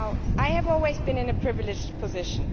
I have always been in a privileged position.